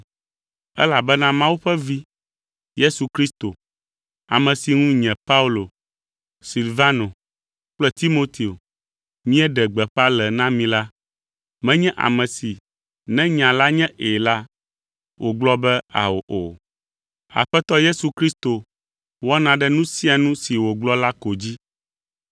Elabena Mawu ƒe Vi, Yesu Kristo, ame si ŋu nye Paulo, Silvano kple Timoteo míeɖe gbeƒã le na mi la, menye ame si ne nya la nye “ɛ̃” la, wògblɔ be, “ao” o. Aƒetɔ Yesu Kristo wɔna ɖe nu sia nu si wògblɔ la ko dzi.